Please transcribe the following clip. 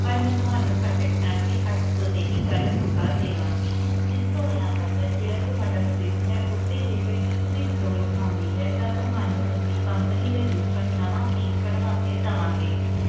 ਪਰ ਮੈਂ ਤੁਹਾਨੂੰ ਕੱਟ ਕਤਾ ਕੇ ਅੱਠ ਸੌ ਤੇ ਹੀ ਗੱਲ ਮੁਕਾ ਦਿਆਂਗੀ ਤੇ ਜੇ ਤੁਹਾਡਾ fridge ਹੈ ਉਤੇ ਜੇਕਰ ਇੱਕ ਵੀ ਖਰੋਚ ਆਂਦੀ ਹੈ ਤਾਂ ਅਸੀਂ ਤੁਹਾਨੂੰ company ਵਿੱਚੋ ਨਵਾਂ piece ਕਢਵਾ ਕੇ ਦਵਾਂਗੇ